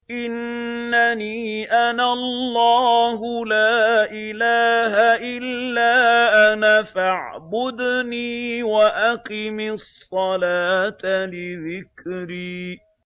إِنَّنِي أَنَا اللَّهُ لَا إِلَٰهَ إِلَّا أَنَا فَاعْبُدْنِي وَأَقِمِ الصَّلَاةَ لِذِكْرِي